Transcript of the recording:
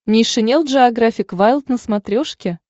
нейшенел джеографик вайлд на смотрешке